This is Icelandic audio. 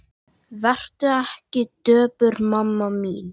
Vertu ekki döpur mamma mín.